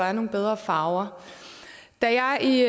er nogle bedre farver da jeg i